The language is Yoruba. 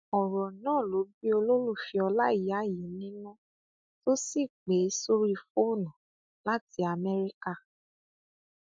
ọrọ náà ló bí olólùfẹ ọláìyá yìí nínú tó sì pè é sórí fóònù láti amẹríkà